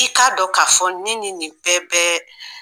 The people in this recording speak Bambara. I k'a dɔn ka fɔ ne ni nin bɛɛ bɛ